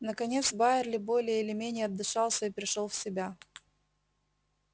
наконец байерли более или менее отдышался и пришёл в себя